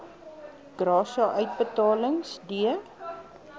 gratia uitbetalings d